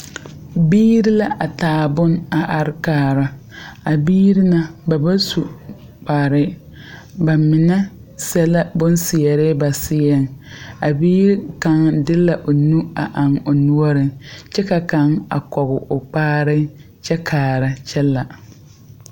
Biire la a taa boŋ a are kaara. A biire na , ba ba su kpare. Ba mene sɛ la bon seɛre ba seɛŋ. A bie kang de la o nu a eŋ o nuoreŋ. Kyɛ ka kang a kɔge o kpaare kyɛ kaara kyɛ la.